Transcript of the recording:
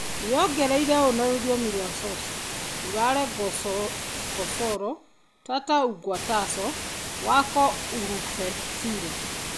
Yongereire ũũ na rũthiomi rwa Xhosa: "Ulale ngoxolo Tata ugqatso lwakho ulufezile."